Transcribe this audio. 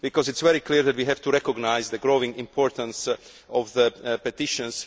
It is very clear that we have to recognise the growing importance of petitions.